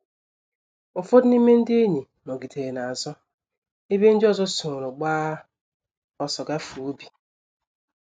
Ụfọdụ n’ime ndị enyi nọgidere n’azụ, ebe ndị ọzọ soro gbaa ọsọ gafee ubi.